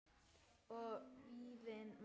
Og vínið maður!